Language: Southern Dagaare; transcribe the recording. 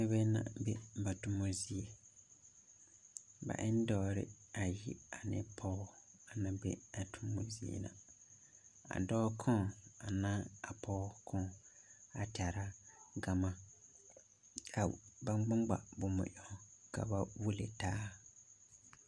Noba na be.ba toma zie ba e ne dɔɔre bayi ane pɔge a na be a toma zie a dɔɔ koŋ a na a pɔge koŋ a tɛra gama ka ba ŋma ŋma boma ɛŋ ka ba wuli taa.